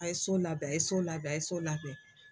A ye so labɛn a ye so labɛn ye so labɛn.